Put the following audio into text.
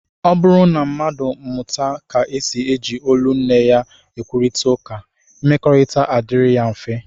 Ọ bụrụ na mmadụ amụta ka e si eji olu nne ya ekwurịta ụka, mmekọrịta na-adịrị ya mfe